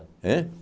Hã?